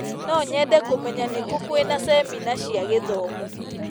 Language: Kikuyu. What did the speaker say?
No nyende kũmenya nĩ kũ kwĩna cemina cia gĩthomo.